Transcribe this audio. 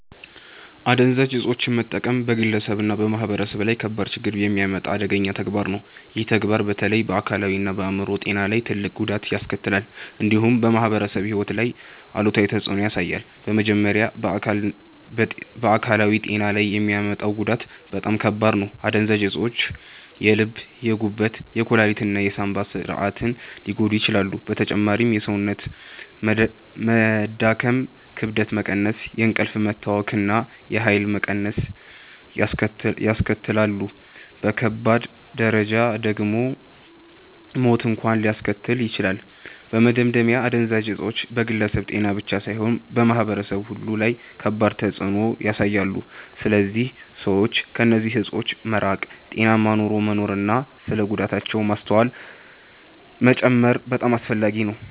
አደንዛዥ እፆችን መጠቀም በግለሰብ እና በማህበረሰብ ላይ ከባድ ችግኝ የሚያመጣ አደገኛ ተግባር ነው። ይህ ተግባር በተለይ በአካላዊ እና በአይምሮ ጤና ላይ ትልቅ ጉዳት ያስከትላል፣ እንዲሁም በማህበራዊ ሕይወት ላይ አሉታዊ ተፅዕኖ ያሳያል። በመጀመሪያ በአካላዊ ጤና ላይ የሚያመጣው ጉዳት በጣም ከባድ ነው። አደንዛዥ እፆች የልብ፣ የጉበት፣ የኩላሊት እና የሳንባ ስርዓትን ሊጎዱ ይችላሉ። በተጨማሪም የሰውነት መዳከም፣ ክብደት መቀነስ፣ የእንቅልፍ መታወክ እና የኃይል መቀነስ ያስከትላሉ። በከባድ ደረጃ ደግሞ ሞት እንኳን ሊያስከትሉ ይችላሉ። በመደምደሚያ አደንዛዥ እፆች በግለሰብ ጤና ብቻ ሳይሆን በማህበረሰብ ሁሉ ላይ ከባድ ተፅዕኖ ያሳያሉ። ስለዚህ ሰዎች ከእነዚህ እፆች መራቅ፣ ጤናማ ኑሮ መኖር እና ስለ ጉዳታቸው ማስተዋል መጨመር በጣም አስፈላጊ ነው።